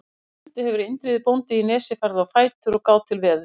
Fyrir stundu hefur Indriði bóndi í Nesi farið á fætur og gáð til veðurs.